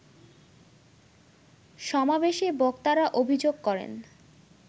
সমাবেশে বক্তারা অভিযোগ করেন